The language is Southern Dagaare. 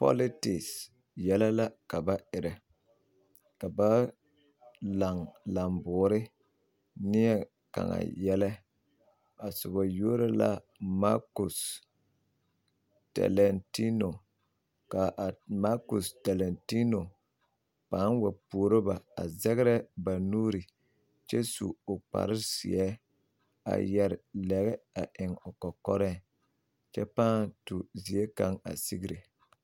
pɔlɔtek yɛlɛ la ka ba erɛ ka ba laŋ lamboore neɛ kaŋa yɛlɛ a soba yuori la Maakusi Dɛlɛteeno ka Maakusi Dɛlɛteeno pãã wa puoro ba a zɛgrɛ ba nuuri kyɛ su o kpare zeɛ a yɛre lɛgɛ eŋ o kɔkɔre kyɛ pãã tu zie kaŋ a sigre.